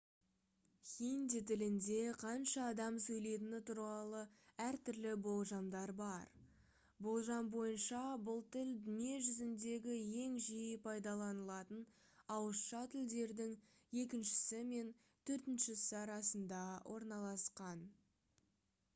хинди тілінде қанша адам сөйлетіні туралы әртүрлі болжамдар бар болжам бойынша бұл тіл дүние жүзіндегі ең жиі пайдаланылатын ауызша тілдердің екіншісі мен төртіншісі арасында орналасқан